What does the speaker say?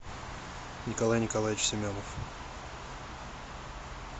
николай николаевич семенов